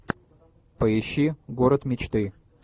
поищи город мечты